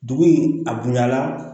Dugu in a bonya na